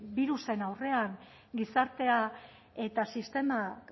birusen aurrean gizartea eta sistema